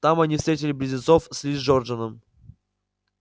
там они встретили близнецов с ли джорданом